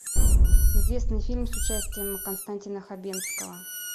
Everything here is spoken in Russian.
известный фильм с участием константина хабенского